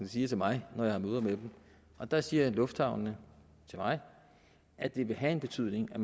siger til mig når jeg har møder dem og der siger lufthavnene til mig at det vil have en betydning at